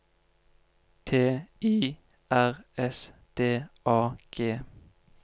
T I R S D A G